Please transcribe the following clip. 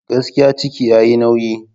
Gaskiya! ciki yayi nauyi.